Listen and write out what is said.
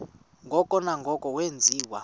ngoko nangoko wenziwa